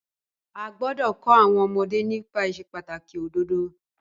A gbọ́dọ̀ kọ́ àwọn ọmọdé nípa ìsepàtàkì òdodo.